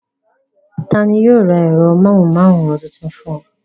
Ta ni yóò ra ẹ̀rọ amóhùmáwòhán tuntun fún ọ?